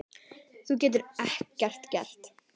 Þú getur ekkert gert.